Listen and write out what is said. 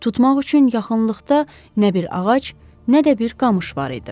Tutmaq üçün yaxınlıqda nə bir ağac, nə də bir qamış var idi.